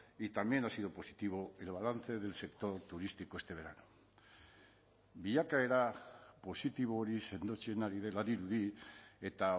y también ha sido positivo el balance del sector turístico este verano bilakaera positibo hori sendotzen ari dela dirudi eta